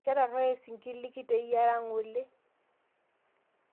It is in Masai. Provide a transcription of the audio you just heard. Ketaroye sinkir likiteyiara ng'ole